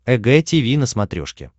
эг тиви на смотрешке